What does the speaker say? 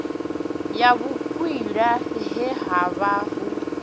ya vhukwila he havha ho